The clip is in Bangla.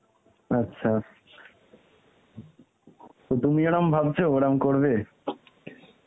আচ্ছা. তা তুমি এরম ভাবছো, ওরকম করবে?